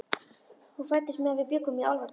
Hún fæddist meðan við bjuggum í Álfadal.